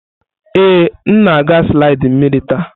Ee, m na-aga slidi mmiri taa.